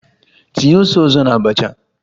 Tinye ose ọzọ na abacha!